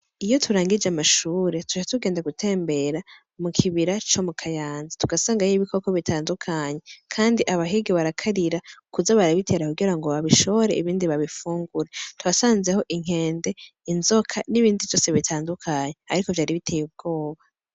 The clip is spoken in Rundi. Iyo turangije amashure tushe tugende gutembera mu kibira co mu kayanza tugasangayo ibikoko bitandukanyi, kandi abahigi barakarira ukuza barabitera kugira ngo babishore ibindi babifungure tuasanzeho inkende inzoka n'ibindi vyose bitandukanyi, ariko vyari biteye ubwoba.